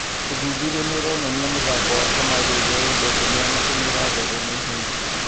Ũthuthuria nĩ ũronania mũthako wa kamarĩ ũrĩa wendetwo nĩ anake nĩũratherema ihenya.